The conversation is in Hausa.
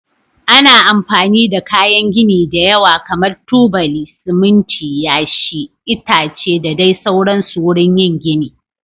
Ana amfani da kayan gini da yawa kamar tubali, siminti, yashi, itace da dai sauransu wurin yin gini.